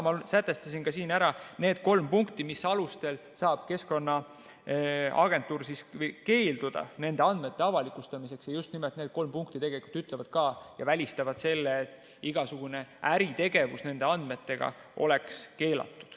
Ma märkisin siin ära need kolm punkti, mis alustel saab Keskkonnaagentuur keelduda nende andmete avalikustamisest, ja just nimelt need kolm punkti ütlevad ka ja välistavad selle, et igasugune äritegevus nende andmetega oleks keelatud.